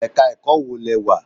Ẹ̀ka ẹ̀kọ́ wo lẹ wà?